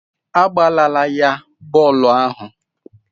Agbalaala ya bọọlụ ahụ.